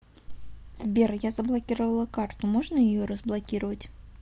сбер я заблокировала карту можно ее разблокировать